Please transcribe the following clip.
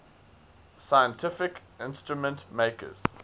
scientific instrument makers